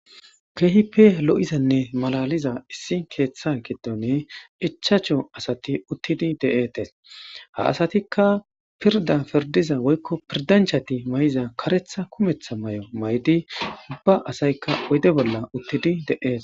keehipe lo7izanne malaliza issi keeththa gedone ichacho asati uttidi de7etes ha asatikka pirda pirdiza woykko pirdanchati may7iza karetha kumetha may7o may7di ubba asaykka oyde bolla uttidi de7ee